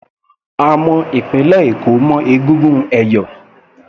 A mọ ìpínlẹ̀ Èkó mọ́ egungun ẹ̀yọ̀